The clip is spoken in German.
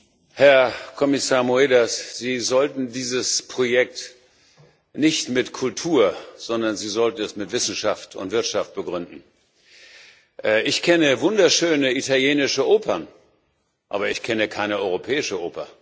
Herr Präsident, Herr Kommissar Moedas! Sie sollten dieses Projekt nicht mit Kultur, sondern mit Wissenschaft und Wirtschaft begründen. Ich kenne wunderschöne italienische Opern, aber ich kenne keine europäische Oper.